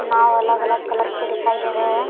नाव अलग अलग कलर के दिखाई दे रहे हैं।